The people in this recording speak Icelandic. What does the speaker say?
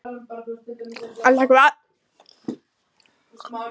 Elta hvað?